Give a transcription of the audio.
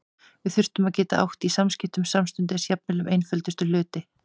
Við þurftum að geta átt í samskiptum samstundis, jafnvel um einföldustu hluti.